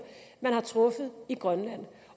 man har truffet i grønland